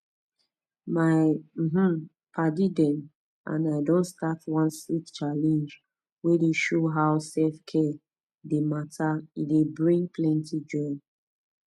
my um padi dem and i don start one sweet challenge wey dey show how selfcare dey matter e dey bring plenty joy